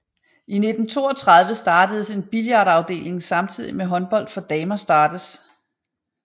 I 1932 startes en billardafdeling samtidig med håndbold for damer startes